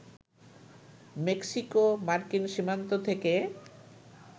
মেক্সিকো-মার্কিন সীমান্ত থেকে